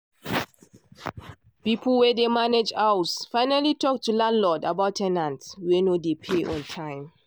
pipo wen dey manage house finally talk to landlord about ten ant wen nor dey pay on time.